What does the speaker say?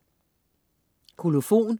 Kolofon